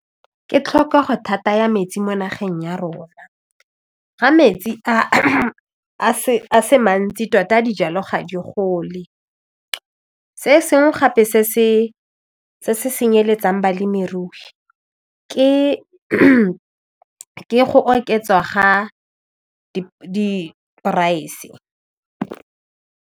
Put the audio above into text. Ke tlhokego thata ya metsi mo nageng ya rona ga metsi a se mantsi tota a dijalo ga di gole, se sengwe gape se se senyeletsang balemirui ke go oketswa ga di-price.